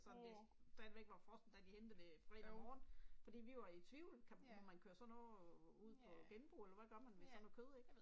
Sådan det stadigvæk var frossent da de hentede det fredag morgen, fordi vi var jo i tvivl, kan man køre sådan noget ud på genbrug eller hvad gør man med sådan noget kød ik